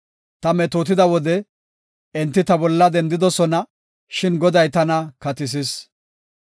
Ta metootida wode enti ta bolla dendidosona; shin Goday tana katisis.